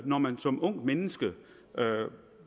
når man som ungt menneske